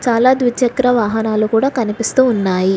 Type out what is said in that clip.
అలా ద్విచక్ర వాహనాలు కూడా కనిపిస్తూ ఉన్నాయి.